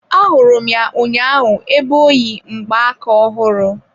Ahụrụ m ya ụnyaahụ ebe oyi mgbaka ofụru.